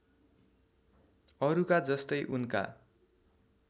अरुका जस्तै उनका